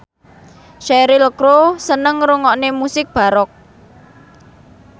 Cheryl Crow seneng ngrungokne musik baroque